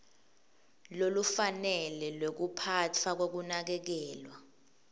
lolufanele lwekuphatfwa kwekunakekelwa